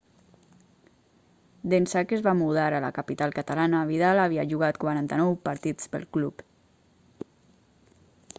d'ençà que es va mudar a la capital catalana vidal havia jugat 49 partits pel club